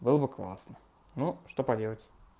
было бы классно ну что поделать